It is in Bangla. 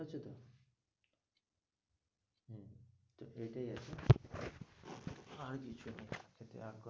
তো এটাই আর কি আর কিছু নই।